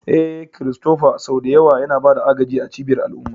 Eh, Christopher sau da yawa yana ba da agaji a cibiyar al'umma.